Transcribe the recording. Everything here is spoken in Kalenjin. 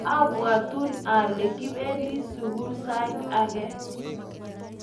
Abwatun ale kipendi sugul sait age.